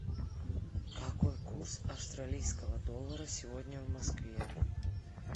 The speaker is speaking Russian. какой курс австралийского доллара сегодня в москве